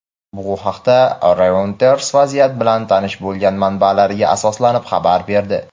Bu haqda "Reuters" vaziyat bilan tanish bo‘lgan manbalariga asoslanib xabar berdi.